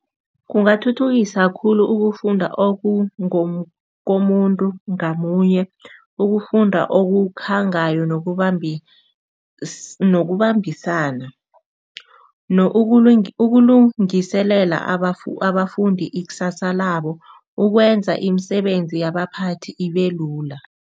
Kungathuthukisa khulu ukufunda okungokomuntu ngamunye ukufunda okukhangayo nokubambisana ukulungiselela abafundi ikusasa labo, ukwenza imisebenzi yabaphathi ibe lula.